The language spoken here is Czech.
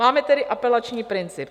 Máme tedy apelační princip.